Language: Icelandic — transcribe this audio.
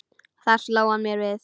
Þar sló hann mér við.